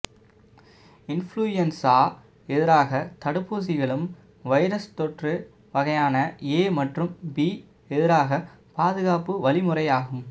influenza எதிராக தடுப்பூசிகளும் virus தொற்று வகையான ஏ மற்றும் பி எதிராக பாதுகாப்பு வழிமுறையாகும்